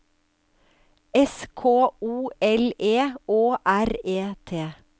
S K O L E Å R E T